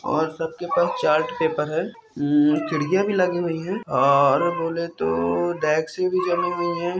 और सब के पास चार्ट पेपर है खिड़कियां भी लगी हुई है और बोले तो जमी हुई है।